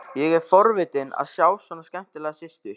Ég er forvitinn að sjá svona skemmtilega systur.